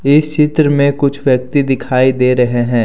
इस चित्र में कुछ व्यक्ति दिखाई दे रहे हैं।